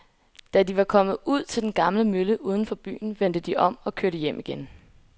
Da de var kommet ud til den gamle mølle uden for byen, vendte de om og kørte hjem igen.